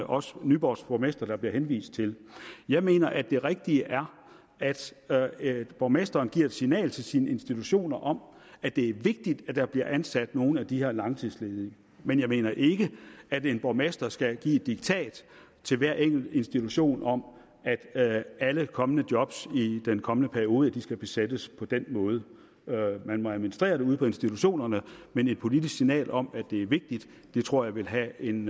også nyborgs borgmester som der bliver henvist til jeg mener at det rigtige er at at borgmesteren giver et signal til sine institutioner om at det er vigtigt at der bliver ansat nogle af de her langtidsledige men jeg mener ikke at en borgmester skal give et diktat til hver enkelt institution om at alle kommende job i den kommende periode skal besættes på den måde man må administrere det ude på institutionerne men et politisk signal om at det er vigtigt tror jeg vil have en